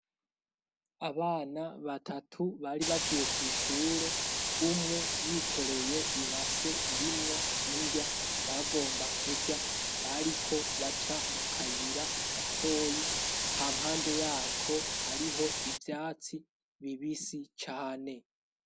Abana batatu bari bavuye kw'ishure, umwe yikoreye ibase irimwo inrya bagomba kurya, bariko baca mu kayira gatoyi, hampande yako hariho ivyatsi bibisi cane.